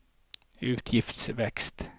utgiftsvekst